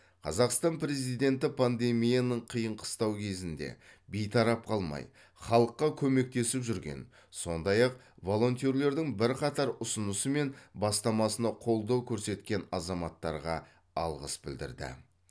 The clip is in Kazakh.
қазақстан президенті пандемияның қиын қыстау кезінде бейтарап қалмай халыққа көмектесіп жүрген сондай ақ волонтерлердің бірқатар ұсынысы мен бастамасына қолдау көрсеткен азаматтарға алғыс білдірді